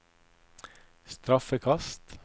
straffekast